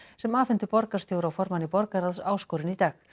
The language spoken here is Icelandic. sem afhentu borgarstjóra og formanni borgaráðs áskorun í dag